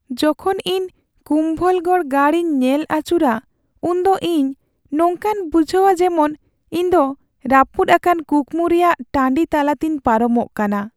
ᱡᱚᱠᱷᱚᱱ ᱤᱧ ᱠᱩᱢᱵᱷᱚᱞᱜᱚᱲ ᱜᱟᱲ ᱤᱧ ᱧᱮᱞ ᱟᱹᱪᱩᱨᱟ ᱩᱱᱫᱚ ᱤᱧ ᱱᱚᱝᱠᱟᱧ ᱵᱩᱡᱷᱟᱹᱣᱟ ᱡᱮᱢᱚᱱ ᱤᱧᱫᱚ ᱨᱟᱹᱯᱩᱫ ᱟᱠᱟᱱ ᱠᱩᱠᱢᱩ ᱨᱮᱭᱟᱜ ᱴᱟᱺᱰᱤ ᱛᱟᱞᱟᱛᱤᱧ ᱯᱟᱨᱚᱢᱚᱜ ᱠᱟᱱᱟ ᱾